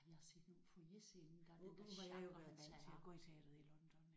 Jeg har set nogen på Foyerscenen engang den der chakraernes herre